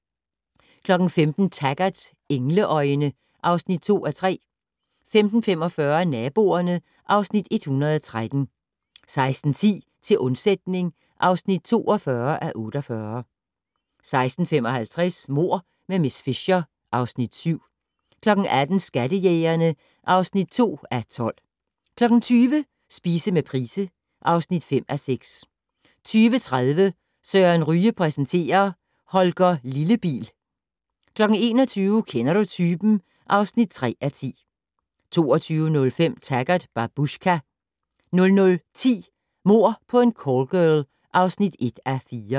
15:00: Taggart: Engleøjne (2:3) 15:45: Naboerne (Afs. 113) 16:10: Til undsætning (42:48) 16:55: Mord med miss Fisher (Afs. 7) 18:00: Skattejægerne (2:12) 20:00: Spise med Price (5:6) 20:30: Søren Ryge præsenterer: Holger Lillebil 21:00: Kender du typen? (3:10) 22:05: Taggart: Babushka 00:10: Mord på en callgirl (1:4)